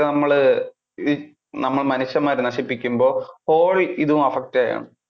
നമ്മള് ആഹ് നമ്മള് മനുഷ്യന്മാര് നശിപ്പിക്കുമ്പോൾ whole ഇത് affect ചെയ്യാണ്.